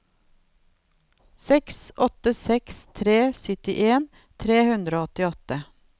seks åtte seks tre syttien tre hundre og åttiåtte